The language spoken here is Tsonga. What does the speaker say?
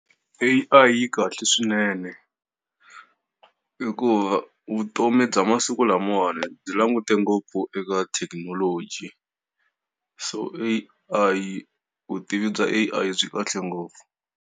A_I yi kahle swinene, hikuva vutomi bya masiku lamawani byi langute ngopfu eka thekinoloji. So A_I vutivi bya A_I byi kahle ngopfu.